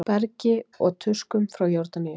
Bergi og tuskum frá Jórdaníu!